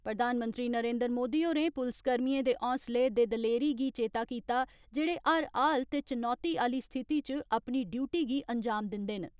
प्रधानमंत्री नरेन्द्र मोदी होरें पुलसकर्मियें दे होसलें दे दलेरी गी चेता कीता जेड़े हर हाल ते चुनौती आली स्थिति च अपनी ड्यूटी गी अंजाम दिन्दे न।